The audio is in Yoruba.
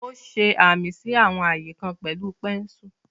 Ó ṣe amí sí àwọn ààyè kan pẹ̀lú pẹ́ńsù.